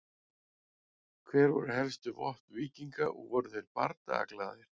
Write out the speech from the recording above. Hver voru helstu vopn víkinga og voru þeir bardagaglaðir?